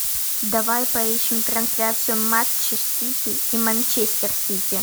давай поищем трансляцию матча сити и манчестер сити